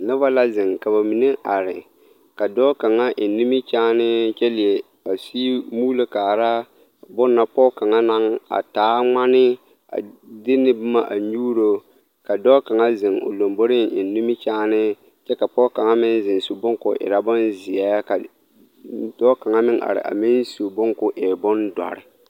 Noba la zeŋ ka ba mine are ka dɔɔ kaŋa eŋ nimikyaane kyɛ leɛ a sigi muulo kaara bonne na pɔge kaŋa naŋ taa ŋmane a de ne boma a nyuuro ka dɔɔ kaŋa zeŋ o lomboreŋ eŋ nimikyaane kyɛ ka pɔge kaŋa meŋ zeŋ su bonne ka o erɛ bonzeɛ ka dɔɔ kaŋa meŋ are a meŋ su bonne ka o e bondɔre.